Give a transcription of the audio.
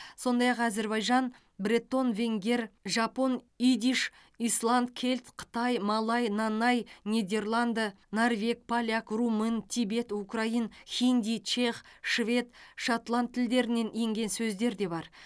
сондай ақ әзербайжан бретон венгер жапон идиш исланд кельт қытай малай нанай нидерланды норвег поляк румын тибет украин хинди чех швед шотланд тілдерінен енген сөздер де бар